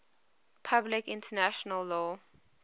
public international law